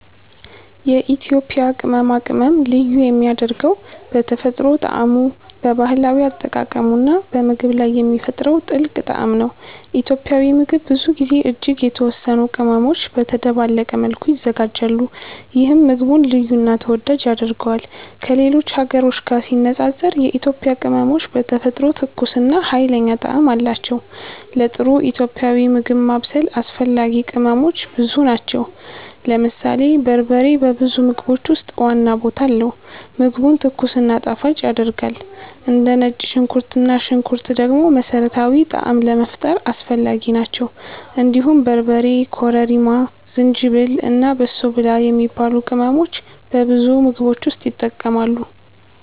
የኢትዮጵያ ቅመማ ቅመም ልዩ የሚያደርገው በተፈጥሮ ጣዕሙ፣ በባህላዊ አጠቃቀሙ እና በምግብ ላይ የሚፈጥረው ጥልቅ ጣዕም ነው። ኢትዮጵያዊ ምግብ ብዙ ጊዜ እጅግ የተወሰኑ ቅመሞች በተደባለቀ መልኩ ይዘጋጃሉ፣ ይህም ምግቡን ልዩ እና ተወዳጅ ያደርገዋል። ከሌሎች ሀገሮች ጋር ሲነጻጸር የኢትዮጵያ ቅመሞች በተፈጥሮ ትኩስ እና ኃይለኛ ጣዕም አላቸው። ለጥሩ ኢትዮጵያዊ ምግብ ማብሰል አስፈላጊ ቅመሞች ብዙ ናቸው። ለምሳሌ በርበሬ በብዙ ምግቦች ውስጥ ዋና ቦታ አለው፣ ምግቡን ትኩስ እና ጣፋጭ ያደርጋል። እንደ ነጭ ሽንኩርት እና ሽንኩርት ደግሞ መሠረታዊ ጣዕም ለመፍጠር አስፈላጊ ናቸው። እንዲሁም በርበሬ፣ ኮረሪማ፣ ዝንጅብል እና በሶ ብላ የሚባሉ ቅመሞች በብዙ ምግቦች ውስጥ ይጠቀማሉ።